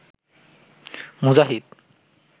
মুজাহিদ